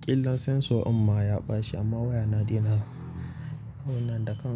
ƙillan sensor din ma ya ɓaci amma waya dai yana, abinnan da kan.